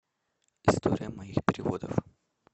история моих переводов